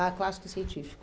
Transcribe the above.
Ah, clássico e científico.